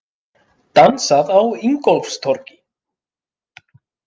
Dansað á Ingólfstorgi